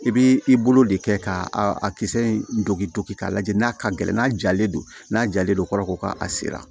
I b'i bolo de kɛ ka a kisɛ in don k'i to k'i k'a lajɛ n'a ka gɛlɛn n'a jalen don n'a jalen don kɔrɔbɔrɔ ko k'a sera